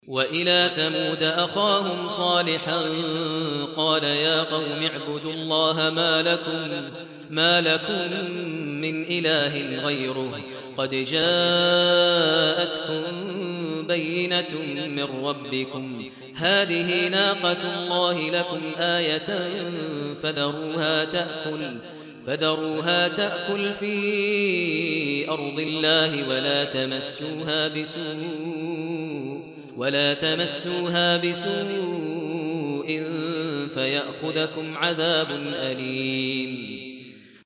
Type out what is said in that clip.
وَإِلَىٰ ثَمُودَ أَخَاهُمْ صَالِحًا ۗ قَالَ يَا قَوْمِ اعْبُدُوا اللَّهَ مَا لَكُم مِّنْ إِلَٰهٍ غَيْرُهُ ۖ قَدْ جَاءَتْكُم بَيِّنَةٌ مِّن رَّبِّكُمْ ۖ هَٰذِهِ نَاقَةُ اللَّهِ لَكُمْ آيَةً ۖ فَذَرُوهَا تَأْكُلْ فِي أَرْضِ اللَّهِ ۖ وَلَا تَمَسُّوهَا بِسُوءٍ فَيَأْخُذَكُمْ عَذَابٌ أَلِيمٌ